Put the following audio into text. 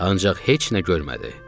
Ancaq heç nə görmədi.